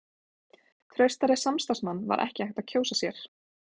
Traustari samstarfsmann var ekki hægt að kjósa sér.